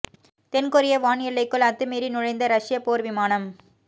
தென்கொரிய வான் எல்லைக்குள் அத்துமீறி நுழைந்த ரஷ்ய போர் விமானம்